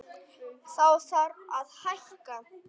Þá þarf að hækka.